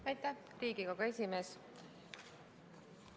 Aitäh, Riigikogu esimees!